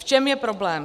V čem je problém.